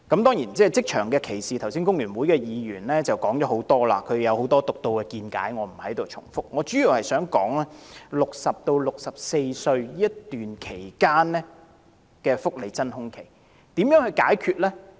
當然，關於職場歧視，工聯會的議員剛才已提出了很多獨到見解，我不在此重複，我主要想談談60歲至64歲這段期間的福利真空期，該如何解決呢？